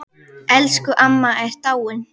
Elsku amma er dáinn.